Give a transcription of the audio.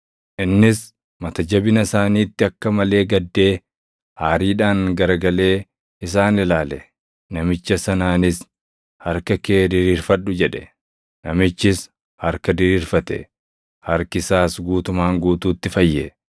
Innis mata jabina isaaniitti akka malee gaddee, aariidhaan garagalee isaan ilaale; namicha sanaanis, “Harka kee diriirfadhu!” jedhe. Namichis harka diriirfate; harki isaas guutumaan guutuutti fayye.